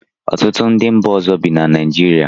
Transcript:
Ọtụtụ ndị mba ọzọ bi na Naijiria